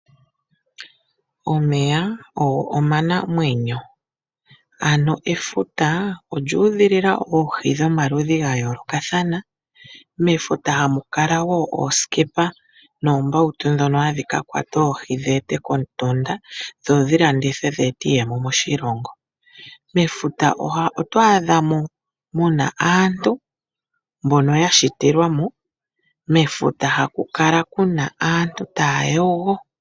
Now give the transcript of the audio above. Omeya ogo omanamwenyo. Ano efuta olyu udhilila oohi dhomaludhi ga yoolokathana. Mefuta hamu kala wo oosikepa noombautu ndhono hadhi ka kwata oohi dhi ete komutunda dho dhi landithwe dhi ete iiyemo moshilongo. Oto adha mo mu na aantu mbono ya shitilwa mo. Mefuta hamu kala mu na aantu taya yogo.